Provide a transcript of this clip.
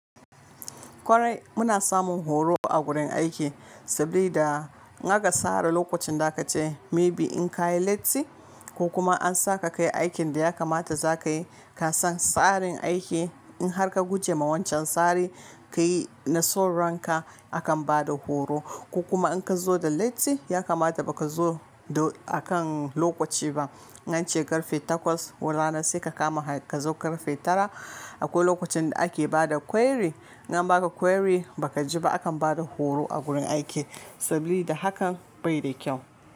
Kwarai muna samun horo a gurin aiki saboda in aka sara lokacin da a ka ce maybe in ka yi latti ko kuma an sa ka kai aikin da ya kamata za ka yi ka san tsarin aiki in har ka guje wa wancan tsari ka yi na sauranka akan bada horo ko kuma in ka zo da latti ya kamata baka zo da akan lokaci ba. Nan ce karfe takwas ko rana sai ka kama ka zo karfe tara akwai lokacin da ake bada query in an baka query baka ji ba akan bada horo a gurin aiki saboda hakan bai da kyau.